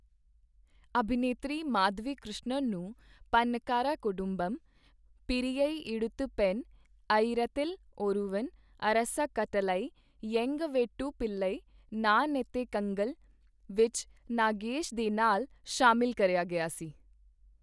ਅਭਿਨੇਤਰੀ ਮਾਧਵੀ ਕ੍ਰਿਸ਼ਣਨ ਨੂੰ ਪੰਨਾ ਕਰਵਾ ਕੁਦੁੰਬਮ, ਪੇਰੀਆ ਐਡਥੂ ਪੈੱਨ, ਅਇਰਾਥਿਲ ਓਰੂਵਨ, ਅਰਾਸਾ ਕੱਟਲਾਈ, ਐਂਗਾ ਵੀਤੂ ਪਿਲਾਈ, ਨਾਨ ਅਤੇ ਅਧੇ ਕੰਗਲ ਵਿੱਚ ਨਾਗੇਸ਼ ਦੇ ਨਾਲ ਸ਼ਾਮਿਲ ਕਰਿਆ ਗਿਆ ਸੀ।